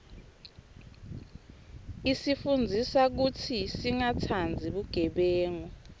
isifundzisa kutsi singatsandzi bugebengu